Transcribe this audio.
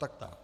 Tak tak.